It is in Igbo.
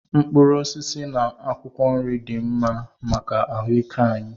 Mkpụrụ osisi na akwụkwọ nri dị mma maka ahụ ike anyị.